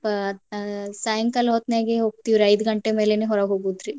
ಅಹ್ ಸಾಯಂಕಾಲ ಹೊತ್ನ್ಯಾಗೆ ಹೋಗ್ತೇವ್ರಿ ಐದ್ ಗಂಟೆ ಮೇಲೇನೆ ಹೊರಗ್ ಹೋಗುದ್ರಿ.